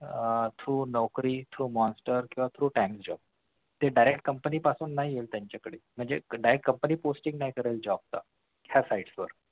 आह through Naukri ते direct company पासून नाही येत त्यांच्याकडे म्हणजे direct company posting नाही करत job cha